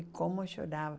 E como chorava.